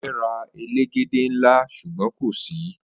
O fe ra elegede nla sugbon ko si